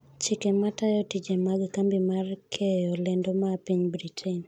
chike ma tayo tije mag kambi mar keyo lendo ma piny Britain